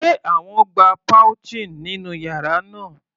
Sé wọ́n gba pouching nínú yàrá náà?.